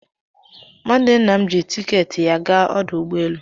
Nwanne nna m ji tiketi ya gaa ọdụ ụgbọelu